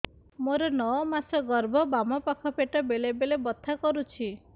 ମୋର ନଅ ମାସ ଗର୍ଭ ବାମ ପାଖ ପେଟ ବେଳେ ବେଳେ ବଥା କରୁଛି